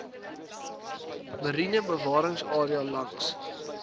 mariene bewaringsarea langs